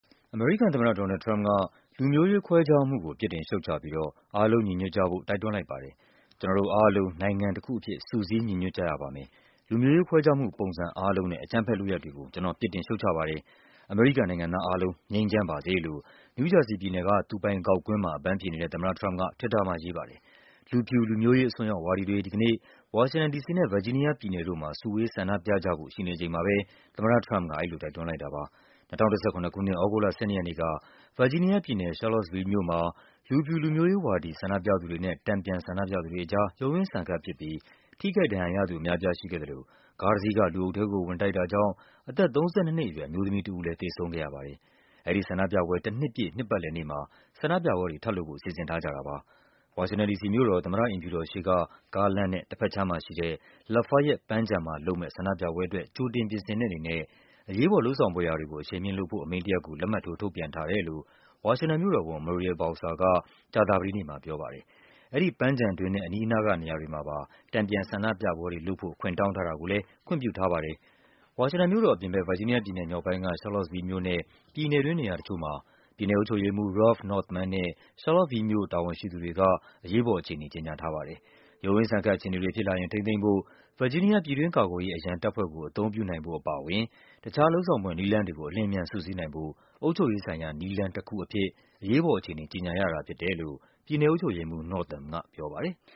အမေရိကန်သမ္မတ ဒေါ်နယ်လ်ဒ် ထရမ့်ပ်က လူမျိုးရေးခွဲခြားမှုကို ပြစ်တင် ရှုတ်ချပြီးတော့ အားလုံးညီညွတ်ကြဖို့ တိုက်တွန်းလိုက်ပါတယ်။ “ကျနော်တို့အားလုံး နိုင်ငံတခုအဖြစ် စုစည်း ညီညွတ်ကြရပါမယ်၊ လူမျိုးရေးခွဲခြားမှုပုံစံ အားလုံးနဲ့ အကြမ်းဖက်လုပ်ရပ်တွေကို ကျနော် ပြစ်တင်ရှုတ်ချပါတယ်၊ အမေရိကန် နိုင်ငံသား အားလုံး ငြိမ်းချမ်းပါစေ” လို့ နယူးဂျာစီပြည်နယ်က သူပိုင်ဂေါက်ကွင်းမှာ အပန်းဖြေနေတဲ့ သမ္မတထရမ့်ပ်က Twitter မှာရေးပါတယ်။ လူဖြူ လူမျိုးရေးအစွန်းရောက်ဝါဒီတွေ (ဒီကနေ့) တနင်္ဂနွေနေ့ ဝါရှင်တန် ဒီစီနဲ့ ဗာဂျီး နီးယား ပြည်နယ်တို့မှာ စုဝေးဆန္ဒပြကြဖို့ ရှိနေချိန်မှာပဲ သမ္မတထရမ့်ပ်က အဲဒီလို တိုက် တွန်းလိုက်တာပါ။ ၂၀၁၇ ခုနှစ်၊ သြဂုတ်လ ၁၂ ရက်နေ့က ဗာဂျီးနီးယားပြည်နယ်၊ Charlottesville မြို့မှာ လူဖြူ လူမျိုးရေးဝါဒီ ဆန္ဒပြသူတွေနဲ့ တန်ပြန်ဆန္ဒပြသူတွေ အကြား ရုန်းရင်းဆန်ခတ်ဖြစ်ပြီး ထိခိုက် ဒဏ်ရာရသူအများအပြား ရှိခဲ့သလို ကားတစီးက လူအုပ်ထဲကို ဝင်တိုက်တာကြောင့် အသက် ၃၂ နှစ်အရွယ် အမျိုးသမီးတဦး သေဆုံးခဲ့ ရပါတယ်။ အဲဒီဆန္ဒပြပွဲ တနှစ်ပြည့် နှစ်ပတ်လည်နေ့မှာ ဆန္ဒပြပွဲတွေလုပ်ဖို့ စီစဉ်ထားကြ တာပါ။ ဝါရှင်တန် ဒီစီမြို့တော် သမ္မတအိမ်ဖြူတော်ရှေ့က ကားလမ်းနဲ့ တဘက်ခြမ်းမှာရှိတဲ့ Lafayette ပန်းခြံမှာလုပ်မယ့် ဆန္ဒပြပွဲ အတွက် ကြိုတင်ပြင်ဆင်တဲ့အနေနဲ့ အရေးပေါ် လုပ်ဆောင်ဖွယ်ရာတွေကို အရှိန်မြှင့်လုပ်ဆောင်ဖို့ အမိန့်တရပ်ကို လက်မှတ်ထိုး ထုတ်ပြန် ထားတယ်လို့ ဝါရှင်တန်မြို့တော်ဝန် Muriel Bowser က ကြာသပတေးနေ့မှ ပြောပါတယ်။ အဲဒီပန်းခြံတွင်းနဲ့ အနီးနားကနေရာတွေမှာပါ တန်ပြန်ဆန္ဒပြပွဲတွေလုပ်ဖို့ ခွင့်တောင်း ထား တာကိုလည်း ခွင့်ပြုထားပါတယ်။ ဝါရှင်တန်မြို့တော်အပြင်ဘက် ဗာဂျီးနီးယားပြည်နယ်မြောက်ပိုင်းက Charlottesville မြို့နဲ့ ပြည်နယ်တွင်း နေရာတချို့မှာ ပြည်နယ်အုပ်ချုပ်ရေးမှူး Ralph Northam နဲ့ Charlottesville မြို့ တာဝန်ရှိသူတွေက အရေးပေါ်အခြေအနေ ကြေညာထားပါ တယ်။ ရုန်းရင်းဆန်ခတ် အခြေအနေတွေဖြစ်လာရင် ထိန်းသိမ်းဖို့ ဗာဂျီးနီးယား ပြည်တွင်း ကာ ကွယ် ရေး အရန်တပ်ဖွဲ့ကို အသုံးပြုနိုင်ဖို့အပါအဝင် တခြား လုပ်ဆောင်ဖွယ် နည်းလမ်း တွေကို အလျင်အမြန် စုစည်းနိုင်ဖို့ “အုပ်ချုပ်ရေးဆိုင်ရာ နည်းလမ်း” တခုအဖြစ် အရေးပေါ် အခြေအနေ ကြေညာရတာဖြစ်တယ်လို့ ပြည်နယ်အုပ်ချုပ်ရေးမှူး Northam ကပြောပါတယ်။